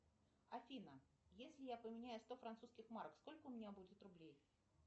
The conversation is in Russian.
афина если я поменяю сто французских марок сколько у меня будет рублей